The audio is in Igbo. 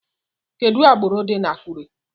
Kedu agbụrụ dị na Akure?